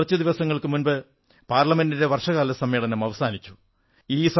കുറച്ചു ദിവസങ്ങൾക്കു മുമ്പ് പാർലമെന്റിന്റെ വർഷകാല സമ്മേളനം അവസാനിച്ചു